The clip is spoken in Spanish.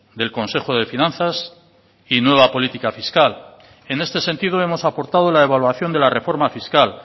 del consejo de finanzas y nueva política fiscal en este sentido hemos aportado la evaluación de la reforma fiscal